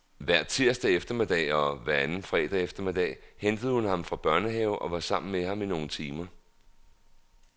Hver tirsdag eftermiddag og hver anden fredag eftermiddag hentede hun ham fra børnehave og var sammen med ham i nogle timer.